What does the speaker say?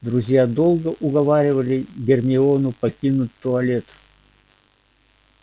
друзья долго уговаривали гермиону покинуть туалет